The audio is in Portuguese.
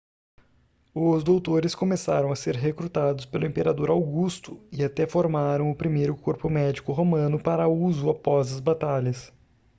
os doutores começaram a ser recrutados pelo imperador augusto e até formaram o primeiro corpo médico romano para uso após as batalhas